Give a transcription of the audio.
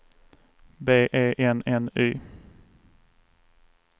B E N N Y